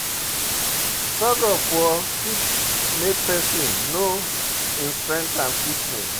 thug of war fit make person know im strength and fitness